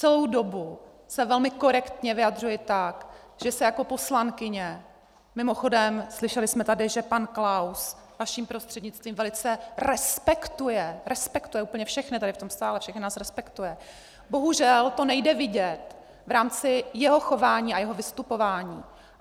Celou dobu se velmi korektně vyjadřuji tak, že se jako poslankyně - mimochodem slyšeli jsme tady, že pan Klaus vaším prostřednictvím velice respektuje , respektuje úplně všechny tady v tom sále, všechny nás respektuje, bohužel to nejde vidět v rámci jeho chování a jeho vystupování.